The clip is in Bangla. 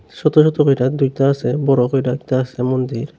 ছোতো ছোতো কইরা দুইতা আসে বড়ো কইরা একতা আসে মন্দির।